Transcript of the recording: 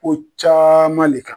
Ko caman de kan